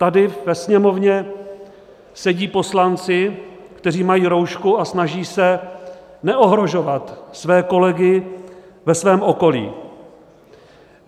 Tady ve Sněmovně sedí poslanci, kteří mají roušku a snaží se neohrožovat své kolegy ve svém okolí.